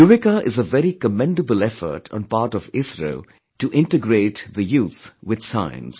'Yuvika' is a very commendable effort on part of ISRO to integrate the youth with science